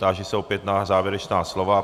Táži se opět na závěrečná slova.